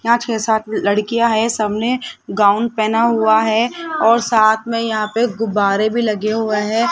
नाच के साथ लड़कियां है सामने गाउन पहना हुआ है और साथ में यहां पे गुब्बारे भी लगे हुआ हैं।